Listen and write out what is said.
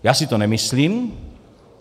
Já si to nemyslím.